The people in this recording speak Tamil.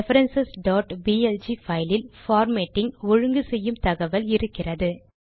ரெஃபரன்ஸ் blg பைலில் பார்மேட்டிங் - ஒழுங்கு செய்யும் தகவல் இருக்கிறது